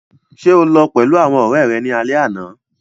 Ṣe o lọ pẹlu awọn ọrẹ rẹ ni alẹ ana?